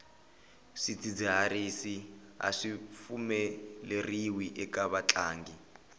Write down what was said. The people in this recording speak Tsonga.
swidzidziharisi aswi pfumeleriwi eka vatlangi